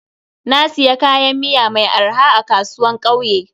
Na siya kayan miya mai arha a kasuwan kauye.